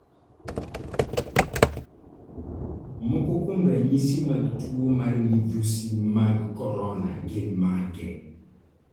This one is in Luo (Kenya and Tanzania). Moko kuom ranyisi mag tuo mar midhusi mag korona gin mage?